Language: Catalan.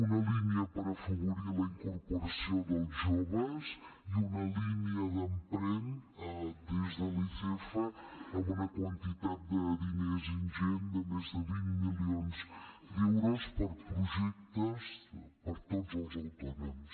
una línia per afavorir la incorporació dels joves i una línia d’ emprèn des de l’icf amb una quantitat de diners ingent de més de vint milions d’euros per a projectes per a tots els autònoms